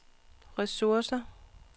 ressourcer